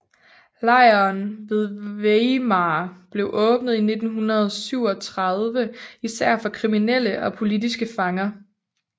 Lejren ved Weimar blev åbnet i 1937 især for kriminelle og politiske fanger